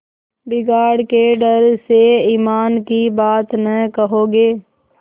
बिगाड़ के डर से ईमान की बात न कहोगे